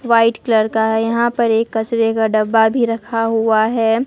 White colour का यहां पर एक कचरे का डब्बा भी रखा हुआ है।